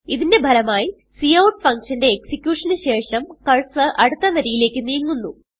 ഇതിന്റെ ഫലമായി cout function ന്റെ എക്സിക്യൂഷൻ ന് ശേഷം കർസർ അടുത്ത വരിയിലേക്ക് നീങ്ങുന്നു